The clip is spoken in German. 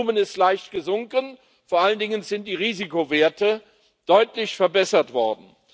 Das Volumen ist leicht gesunken, vor allen Dingen sind die Risikowerte deutlich verbessert worden.